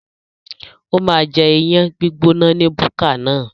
Ó máa jẹ iyán gbígbóná ní búkà náà.